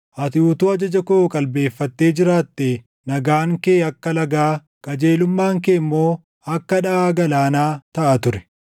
Ati utuu ajaja koo qalbeeffattee jiraattee, nagaan kee akka lagaa, qajeelummaan kee immoo akka dhaʼaa galaanaa taʼa ture.